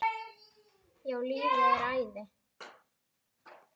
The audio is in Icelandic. Já, lífið er æði.